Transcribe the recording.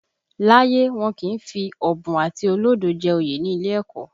Láyé, wọn kì í fi ọ̀bùn àti olódo jẹ oyè ní ilé ẹ̀kọ́